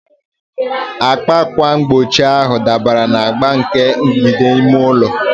Agba ákwà mgbochi ahụ dabara na agba nke mgbidi ime ụlọ.